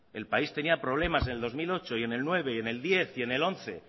el país tenía problemas en el dos mil ocho y en el dos mil nueve y en el dos mil diez y en el dos mil once